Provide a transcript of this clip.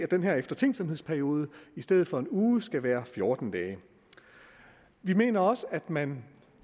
den her eftertænksomhedsperiode i stedet for en uge måske skal være fjorten dage vi mener også at man